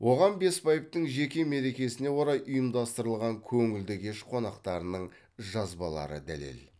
оған бесбаевтың жеке мерекесіне орай ұйымдастырылған көңілді кеш қонақтарының жазбалары дәлел